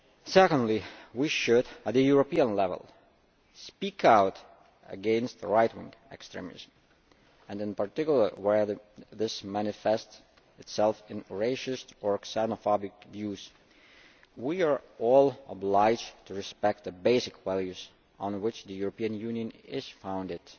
Secondly, we should at the European level speak out against right wing extremism and, in particular where this manifests itself in racist or xenophobic views, we are all obliged to respect the basic values on which the European Union is founded